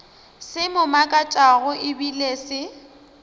se mo makatšago ebile se